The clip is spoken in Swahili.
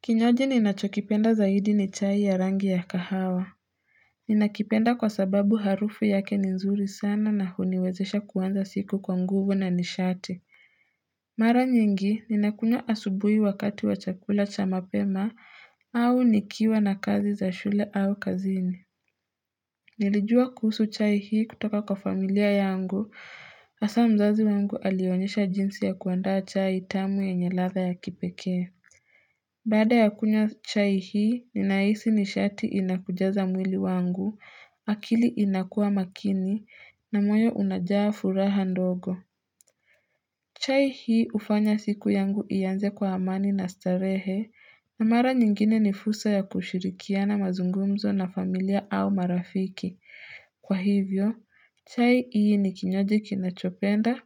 Kinywaji ninachokipenda zaidi ni chai ya rangi ya kahawa Ninakipenda kwasababu harufu yake ni nzuri sana na huniwezesha kuanza siku kwa nguvu na nishati Mara nyingi ninakunywa asubuhi wakati wa chakula cha mapema au nikiwa na kazi za shule au kazini Nilijua kuhusu chai hii kutoka kwa familia yangu hasa mzazi wangu alionyesha jinsi ya kuandaa chai tamu yenye ladha ya kipekee Baada ya kunywa chai hii, ninahisi nishati inakujaza mwili wangu, akili inakua makini, na moyo unajaa furaha ndogo. Chai hii hufanya siku yangu ianze kwa amani na starehe, na mara nyingine ni fursa ya kushirikiana mazungumzo na familia au marafiki. Kwa hivyo, chai hii ni kinywaji kinachopenda